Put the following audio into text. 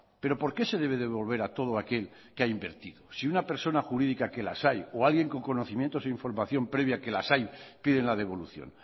pero por qué se debe devolver a todo aquel que ha invertido si una persona jurídica que las hay o alguien con conocimientos e información previa que las hay piden la devolución